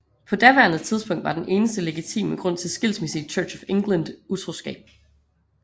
På daværende tidspunkt var den eneste legitime grund til skilsmisse i Church of England utroskab